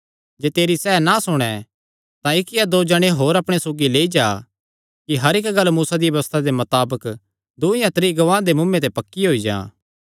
जे तेरी सैह़ ना सुणे तां इक्क या दो जणे होर अपणे सौगी लेई जा कि हर इक्क गल्ल मूसा दिया व्यबस्था दे मताबक दूँ या त्रीं गवाहां दे मुँऐ ते पक्की होई जां